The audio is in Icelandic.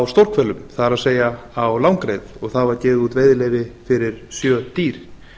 stórhvelum það er á langreyðar og það var gefið út veiðileyfi fyrir sjö dýr